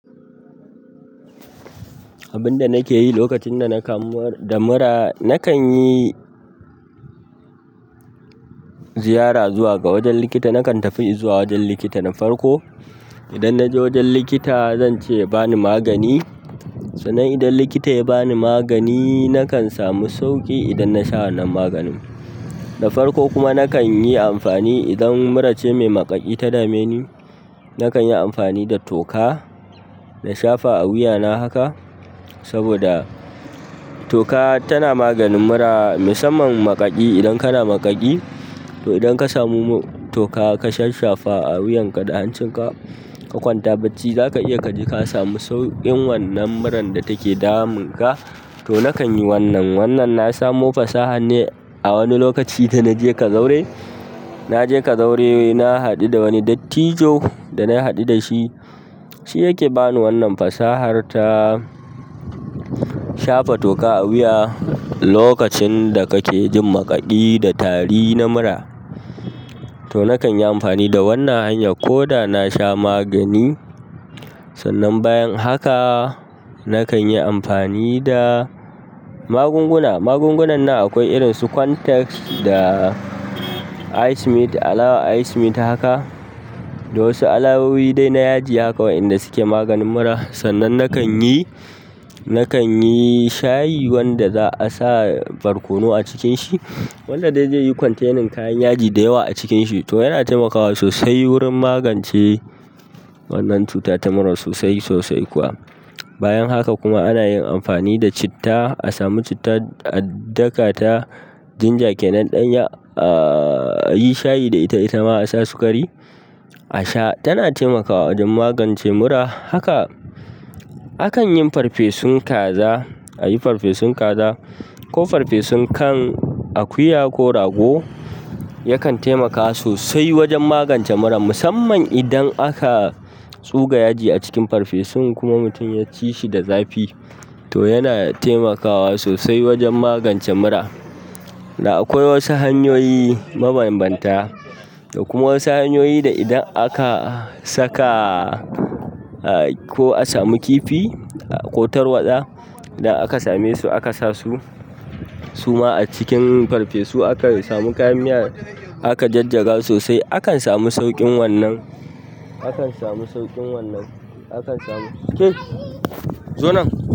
Abinda nake yi lokacin da na kamu da mura nakan yi ziyara zuwa ga wajen likita. Nakan tafi in zuwa wajen likita na farko. Idan na je wajen likita zan ce ya bani magani. Sannan idan likita ya bani magani nakan samu sauƙi idan na sha wannan maganin. Da farko kuma, na kanyi amfani idan murace mai maƙaƙi ta dameni, nakanyi amfani da toka na shafa a wuyana haka, saboda toka tana maganin mura musamman maƙaƙi. Idan kana maƙaƙi, to idan ka samu toka ka shasshafa a wuyan ka da hancin ka, ka kwanta bacci za ka iya kaji ka samu sauƙin wannan muran da take damun ka. To nakan yi wannan. Wannan na samo fasaha ne a wani lokaci da na je kazauri. Na je kazaure na haɗu da wani dattijo. Da na haɗu da shi, shi yake bani wannan fasahar ta shafa toka a wuya lokacin da kake jin maƙaƙi da tari na mura. To nakan yi amfani da wannan hanya ko da na sha magani. Sannan bayan haka nakan yi amfani da magunguna. Magungunan nan akwai irin su Quantrex da ice-mint, alawa ice-mint haka da wasu alamomi dai na yaji haka waɗanda suke maganin mura. Sannan nakan yi, nakan yi shayi wanda za'a sa barkono a cikin shi, wanda dai zaiyi ya yi kwantenin kayan yaji da yawa a cikin shi. To yana taimakawa sosai wurin magance wannan cuta ta mura sosai sosai kuwa. Bayan haka kuma ana yin amfani da citta. A samu citta, a daka ta. Dinja kenan ɗanya, ayi shayi da ita itama asa sikari asha. Tana taimakawa wajen magance mura. Haka akan yin farfesun kaza. A yi farfesun kaza ko farfesun kan akuya ko rago yakan taimakawa sosai wajen magance mura musamman idan aka tsuga yaji a cikin farfesun kuma mutum ya ci shi da zafi to yana taimakawa sosai wajen magance mura. Da akwai wasu hanyoyi mabanbanta da kuma wasu hanyoyi da idan aka saka ko a samu kifi ko tarwaɗa idan aka same su aka sa su suma a cikin farfesu aka samu kayan miya aka jajjaga sosai akan samu sauƙin wannan, akan samu sauƙin wannan. Akan samu-- zo nan.